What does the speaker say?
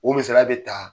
O misaliya bɛ ta